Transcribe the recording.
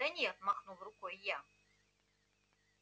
да нет махнул рукой я